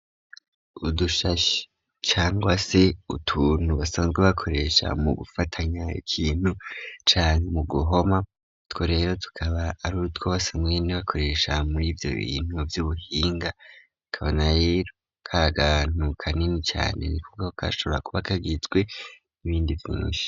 Udushashe cyangwase utuntu basanzwe bakoresha mu gufatanya ikintu, canke mu guhoma utwo rero tukaba ari utwo basanzwe bakoresha muri ivyo bintu vy'ubuhinga akaba rero kakantu kanini cane niko gashobora kuba kagizwe n'ibindi vvinshi.